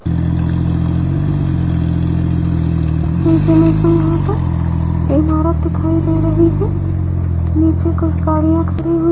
इस इमेज में यहां पर इमारत दिखाई दे रही है नीचे कुछ गाड़ियां खड़ी हुई --